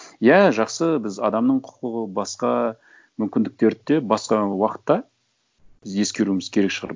иә жақсы біз адамның құқығы басқа мүмкіндіктерді де басқа уақытта біз ескеруіміз керек шығар